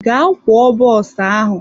Gaa kwoo bọs ahụ!